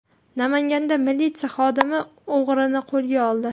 Namanganda militsiya xodimasi o‘g‘rini qo‘lga oldi.